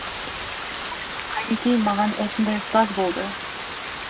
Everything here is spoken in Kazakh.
қайнекей маған осындай ұстаз болды